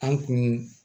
An kun